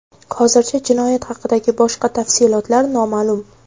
Hozircha jinoyat haqidagi boshqa tafsilotlar noma’lum.